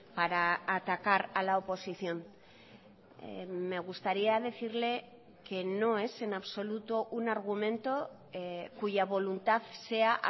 para atacar a la oposición me gustaría decirle que no es en absoluto un argumento cuya voluntad sea